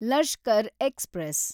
Lashkar express